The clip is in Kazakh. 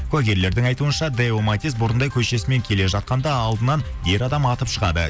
куәгерлердің айтуынша дэоматис бұрындай көшесімен келе жатқанда алдынан ер адам атып шығады